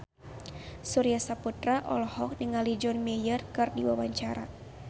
Surya Saputra olohok ningali John Mayer keur diwawancara